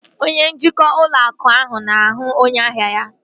Onye njikwa ụlọ akụ ahụ na-ahụ onye ahia ya